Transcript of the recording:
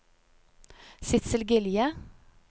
Sidsel Gilje